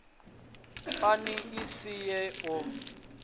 pani i si swe u